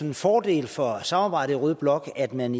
en fordel for samarbejdet i rød blok at man